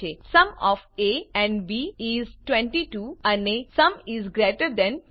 sum of A and B is 22 અને sum is greater than 20